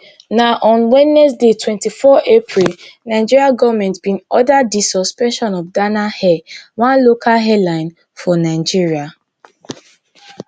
na on wednesday twenty-four april nigeria goment bin order di suspension of dana air one local airline for nigeria